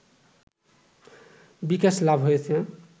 বিকাশ লাভ হয়েছে